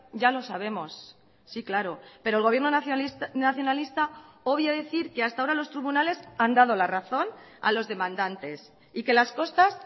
ya los sabemos sí claro pero el gobierno nacionalista obvia decir que hasta ahora los tribunales han dado la razón a los demandantes y que las costas